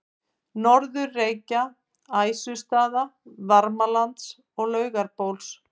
Norður-Reykja, Æsustaða, Varmalands og Laugabóls.